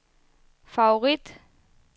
favorit